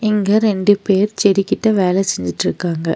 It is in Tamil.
இங்க ரெண்டு பேர் செடி கிட்ட வேல செஞ்சுட்ருக்காங்க.